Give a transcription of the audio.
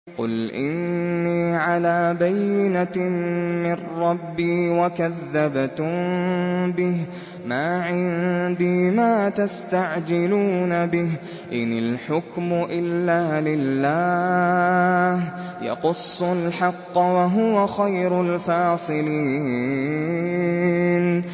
قُلْ إِنِّي عَلَىٰ بَيِّنَةٍ مِّن رَّبِّي وَكَذَّبْتُم بِهِ ۚ مَا عِندِي مَا تَسْتَعْجِلُونَ بِهِ ۚ إِنِ الْحُكْمُ إِلَّا لِلَّهِ ۖ يَقُصُّ الْحَقَّ ۖ وَهُوَ خَيْرُ الْفَاصِلِينَ